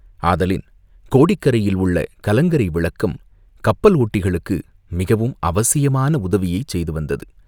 ஆதலின், கோடிக்கரையில் உள்ள கலங்கரை விளக்கம் கப்பல் ஓட்டிகளுக்கு மிகவும் அவசியமான உதவியைச் செய்து வந்தது.